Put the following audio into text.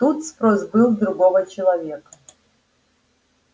тут спрос был с другого человека